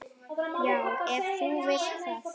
Já, ef þú vilt það.